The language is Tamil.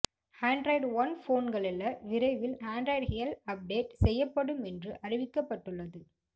ஆன்டிராய்டு ஓன் போந்களில்ல விரைவில் ஆன்டிராய்டு எல் அப்டேட் செய்யப்படும் என்றும் அறிவிக்கப்பட்டுள்ளது